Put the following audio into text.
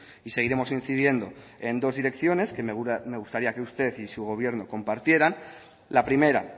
y seguiremos incidiendo en dos direcciones que me gustaría que usted y su gobierno compartieran la primera